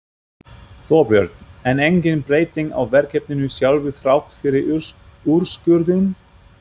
Þorbjörn: En engin breyting á verkefninu sjálfu þrátt fyrir úrskurðinn?